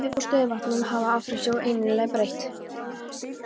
Yfirborð stöðuvatna sem hafa afrennsli er einnig breytilegt.